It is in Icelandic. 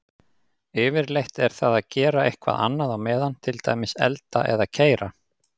Yfirleitt er það að gera eitthvað annað á meðan, til dæmis elda eða keyra.